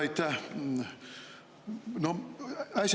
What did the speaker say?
Aitäh!